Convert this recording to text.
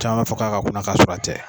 Caman m'a fɔ k'a ka kunna k'a sɔrɔ a tɛ